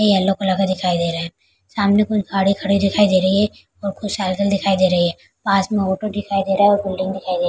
yellow colour का दिखाई दे रहा है सामने कुछ गाड़ी खड़ी दिखाई दे रही है और कुछ साइकिल दिखाई दे रही है पास में ऑटो दिखाई दे रहा है और बिल्डिंग दिखाई दे --